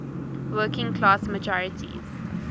working class majorities